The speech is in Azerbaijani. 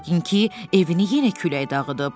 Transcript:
Yəqin ki, evini yenə külək dağıdıb.